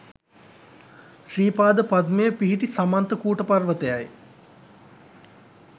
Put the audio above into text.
ශ්‍රී පාද පද්මය පිහිටි සමන්ත කූට පර්වතයයි.